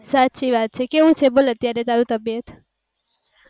સાચી વાત છે કેવું છે અત્યારે તારી તબિયત